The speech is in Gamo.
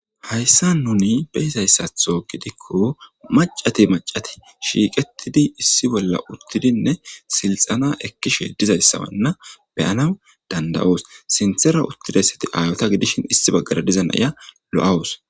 Hayissan nuni beyizayissaththo gidikko macat macat shiqetid issi bolla utidi silxena utida sinththara utidaytt ayeta gidishin issinya kehippe lo"awus